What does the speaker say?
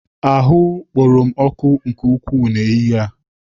Ahụ kporo m ọkụ nke ukwuu n'ehihie a.